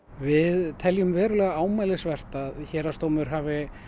við teljum verulega ámælisvert að héraðsdómur hafi